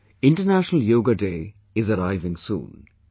'International Yoga Day' is arriving soon